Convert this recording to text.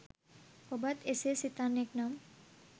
ඔබත් එසේ සිතන්නෙක් නම්